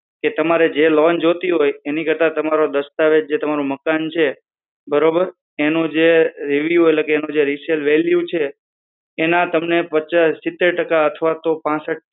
એક વરશ બે વરસ થી ઉપર હોવું જોઈએ પણ હું તમને માહિતી આપી દઉં જો આપને allownce માટે interest માટે intrsted હોય તો બરોબર પેલું તો હું તમને અમારા norms જણાવી દઉં અમારા rules એ છે કે